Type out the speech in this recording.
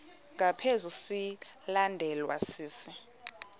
ngaphezu silandelwa sisi